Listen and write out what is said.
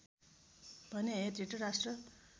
भने हे धृतराष्ट्र